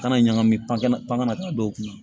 Kana ɲagami pankɛnɛ pan kana taa dɔw kun na